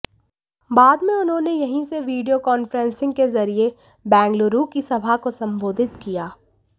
बाद में उन्होंने यहीं से वीडियो कांफ्रेंसिग के जरिये बेंगलुरु की सभा को संबोधित किया